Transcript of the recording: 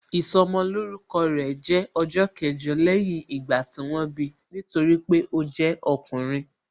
Ìsọmolórúkọ rẹ̀ jẹ́ ọjọ́ kẹjọ lẹ́yìn ìgbà tí wọ́n bi, nítorí pé ó jẹ́ ọkùnrin